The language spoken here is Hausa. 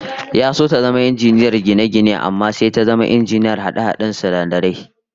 Ya so ta zama injiniyar gine-gine amma sai ta zama injiniyar hade-haden sinadarai